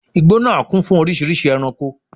Igbó nàá kún fún oríṣìíríṣìí ẹranko